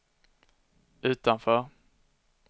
utanför